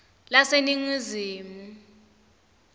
laseningizimu